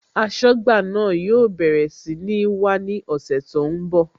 Aṣọ́gbà náà yóò bẹ̀rẹ̀ sí ní wá ní ọ̀sẹ̀ tó ń bọ̀